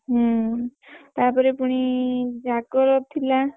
ହୁଁ ତାପରେ ପୁଣି ଜାଗର ଥିଲା।